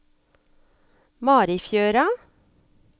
Marifjøra